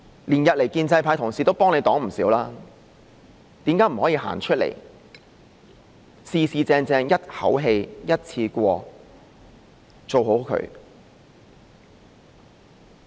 連日來，建制派同事都幫她擋了不少，為何她不可以走出來，正正式式一口氣、一次過把事情做好？